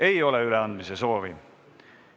Ei ole üleandmise soovi.